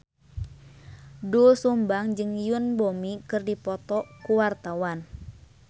Doel Sumbang jeung Yoon Bomi keur dipoto ku wartawan